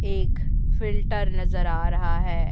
एक फ़िल्टर नजर आ रहा है।